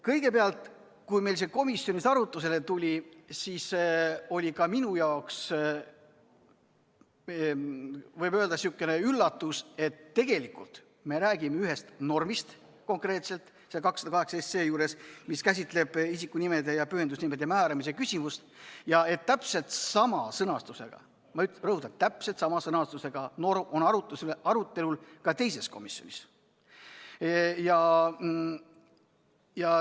Kõigepealt, kui see teema meil komisjonis arutlusele tuli, siis oli ka minule, võib öelda, üllatus, et tegelikult me räägime 208 SE juures konkreetselt ühest normist, mis käsitleb isikunimede ja pühendusnimede määramise küsimust, aga täpselt sama sõnastusega – ma rõhutan, täpselt sama sõnastusega – norm on arutelul ka teises komisjonis.